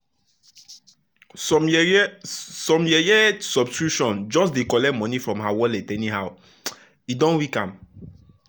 some yeye some yeye subscription just dey collect money from her wallet anyhow — e don weak am.